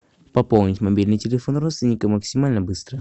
пополнить мобильный телефон родственника максимально быстро